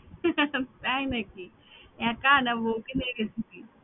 তাই নাকি একা নাকি বউকে নিয়ে গেছিলি?